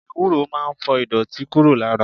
Ewúro máa ń fọ ìdọ̀tí kúrò lára.